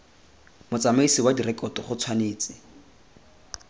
motsamaisi wa direkoto go tshwanetse